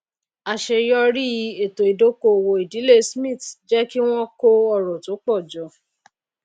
àsèyorí ètò ìdókòwò ìdílé cs] smith jé kí wón kó ọrò tó pò jọ